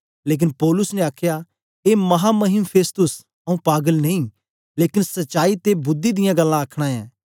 लेकन पौलुस ने आखया ए महामहिम फेस्तुस आंऊँ पागल नेई लेकन सचाई ते बुद्धि दियां गल्लां आखन ऐं